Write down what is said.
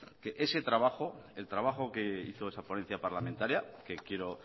que ese trabajo el trabajo que hizo esa ponencia parlamentaria que quiero